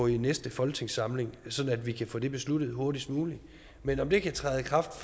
i næste folketingssamling sådan at vi kan få det besluttet hurtigst muligt men om det kan træde i kraft